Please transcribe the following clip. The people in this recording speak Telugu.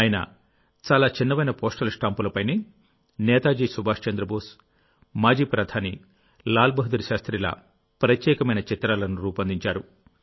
ఆయన చాలా చిన్నవైన పోస్టల్ స్టాంపులపైనే నేతాజీ సుభాష్ చంద్రబోస్ మాజీ ప్రధాని లాల్ బహదూర్ శాస్త్రిల ప్రత్యేకమైన చిత్రాలను రూపొందించారు